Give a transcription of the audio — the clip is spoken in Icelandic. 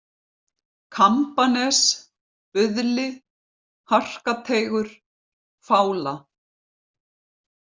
Kambanes, Buðli, Harkateigur, Fála